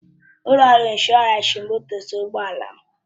Ụlọ ọrụ ịnshọransị m doziri ụgbọ ala m